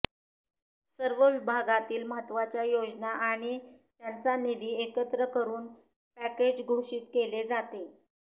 सर्व विभागातील महत्त्वाच्या योजना आणि त्यांचा निधी एकत्र करून पॅकेज घोषित केले जाते